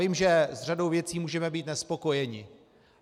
Vím, že s řadou věcí můžeme být nespokojeni.